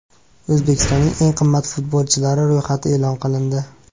O‘zbekistonning eng qimmat futbolchilari ro‘yxati e’lon qilindi.